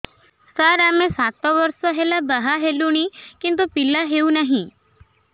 ସାର ଆମେ ସାତ ବର୍ଷ ହେଲା ବାହା ହେଲୁଣି କିନ୍ତୁ ପିଲା ହେଉନାହିଁ